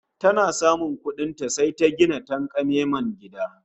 Tana samun kuɗin ta, sai ta gina tanƙamemen gida